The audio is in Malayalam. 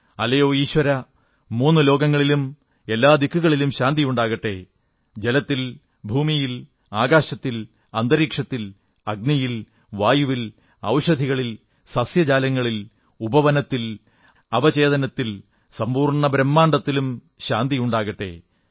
അല്ലയോ ഈശ്വരാ മൂന്നു ലോകങ്ങളിലും എല്ലാദിക്കിലും ശാന്തിയുണ്ടാകട്ടെ ജലത്തിൽ ഭൂമിയിൽ ആകാശത്തിൽ അന്തരീക്ഷത്തിൽ അഗ്നിയിൽ വായുവിൽ ഔഷധികളിൽ സസ്യജാലങ്ങളിൽ ഉപവനത്തിൽ അചേതനത്തിൽ സമ്പൂർണ്ണ ബ്രഹ്മാണ്ഡത്തിലും ശാന്തിയുണ്ടാകട്ടെ